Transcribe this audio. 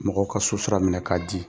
Mɔgɔw ka sosira minɛ k'a ci.